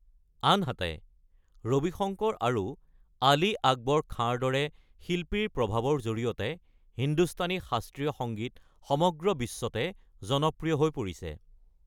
আনহাতে, ৰবি শংকৰ আৰু আলী আকবৰ খাঁৰ দৰে শিল্পীৰ প্ৰভাৱৰ জৰিয়তে হিন্দুস্তানী শাস্ত্ৰীয় সংগীত সমগ্ৰ বিশ্বতে জনপ্ৰিয় হৈ পৰিছে।